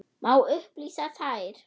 Má upplýsa þær?